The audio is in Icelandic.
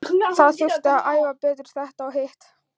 Það þurfti að æfa betur þetta og hitt.